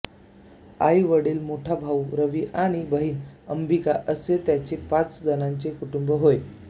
आई वडील मोठा भाऊ रवी आणि बहीण अंबिका असे त्याचे पाच जणांचे कुटुंब होय